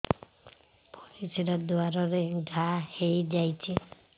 ପରିଶ୍ରା ଦ୍ୱାର ରେ ଘା ହେଇଯାଇଛି